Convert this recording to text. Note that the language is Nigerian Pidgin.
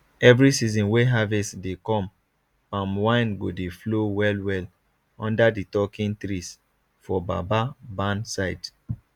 every season wey harvest dey come palm wine go dey flow wellwell under di talking trees for baba barn side